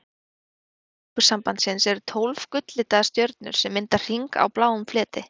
Á fána Evrópusambandsins eru tólf gull-litaðar stjörnur sem mynda hring á bláum fleti.